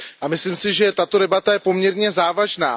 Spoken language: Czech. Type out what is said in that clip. A myslím si, že tato debata je poměrně závažná.